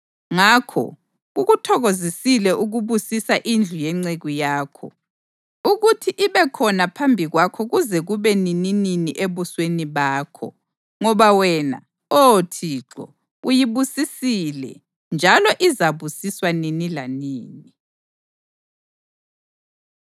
Ngakho kukuthokozisile ukubusisa indlu yenceku yakho, ukuthi ibe khona phambi kwakho kuze kube nininini ebusweni bakho; ngoba wena, Oh Thixo, uyibusisile, njalo izabusiswa nini lanini.”